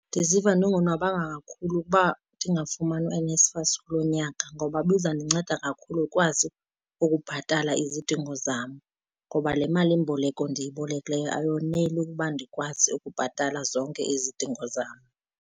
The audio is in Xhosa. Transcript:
Ndiziva ndingonwabanga kakhulu ukuba ndingafumani uNSFAS kulo nyaka ngoba ibizandinceda kakhulu ndikwazi ukubhatala izidingo zam, ngoba le malimboleko ndiyibolekileyo ayoneli ukuba ndikwazi ukubhatala zonke izidingo zam.